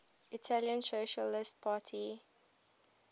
italian socialist party